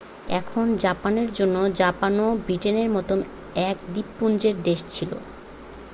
এখন জাপানের জন্য জাপানও ব্রিটেনের মতো এক দ্বীপপুঞ্জের দেশ ছিল